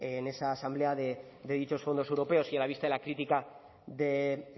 en esa asamblea de dichos fondos europeos y a la vista de la crítica de